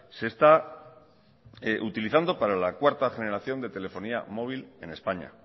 se está utilizando para la cuarta generación de telefonía móvil en españa